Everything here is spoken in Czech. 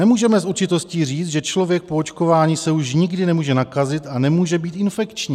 Nemůžeme s určitostí říci, že člověk po očkování se už nikdy nemůže nakazit a nemůže být infekční.